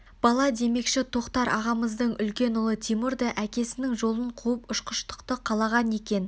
бала демекші тоқтар ағамыздың үлкен ұлы тимур да әкесінің жолын қуып ұшқыштықты қалаған екен